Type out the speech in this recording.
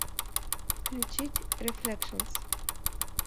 включить рефлекшнс